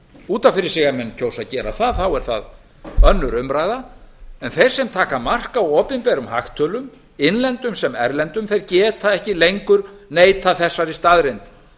út af fyrir sig ef menn kjósa að gera það er það önnur umræða en þeir sem taka mark á opinberum hagtölum innlendum sem erlendum þeir geta ekki lengur neitað þessari staðreynd